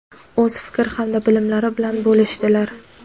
o‘z fikr hamda bilimlari bilan bo‘lishdilar.